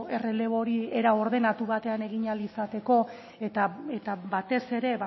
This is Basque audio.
errelebo hori era ordenatu batean egin ahal izateko eta batez ere